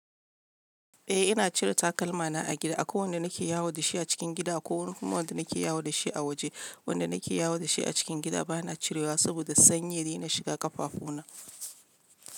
Eh ina cire takalma na a gida. Akwai wanda nake yawo da shi a cikin gida ko kuma wanda nake yawo da shi a waje. Wanda nake yawo da shi a cikin gida bana cirewa saboda sanyi dai na shiga kafafu na.